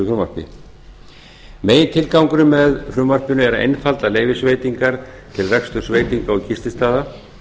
frumvarpi megintilgangurinn með frumvarpinu er að einfalda leyfisveitingar til reksturs veitinga og gististaða